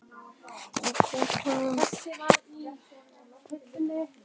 í kútunum er hár þrýstingur þannig að koltvísýringurinn er á fljótandi formi